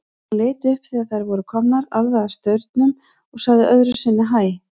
Hún leit upp þegar þær voru komnar alveg að staurnum og sagði öðru sinni hæ.